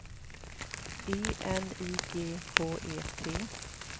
E N I G H E T